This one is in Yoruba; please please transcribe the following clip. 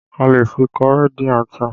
A lè fi kọrí dín ata